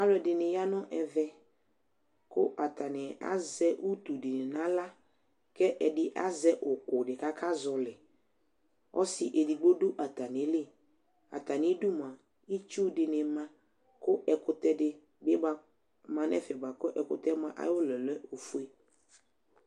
Alʊ ɛdinɩ ya nʊ ɛvɛ Kʊ atanɩ azɛ ʊti dɩ nawla, kedi azɛ ukʊ kaka zɔlɩ Ɔsɩ edigbo du atamili Atamidu mua ɩtsʊ dini ma ɛkʊtɛ dibɩ ma nʊ ɛfɛ bʊakʊ ekʊtɛ yɛ ayʊɔlɔ lɛ ofue